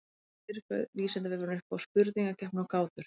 Sem fyrr bauð Vísindavefurinn upp á spurningakeppni og gátur.